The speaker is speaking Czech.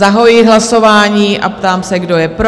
Zahajuji hlasování a ptám se, kdo je pro?